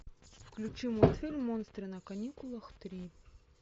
включи мультфильм монстры на каникулах три